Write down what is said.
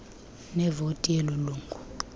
nevoti yeloo lungu